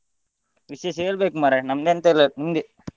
ವಿಶೇಷ ಹೇಳ್ಬೇಕ್ ಮಾರ್ರೆ ನಂಮದೆಂತೆಲ್ಲಾ ನಿಮ್ಮದೇ.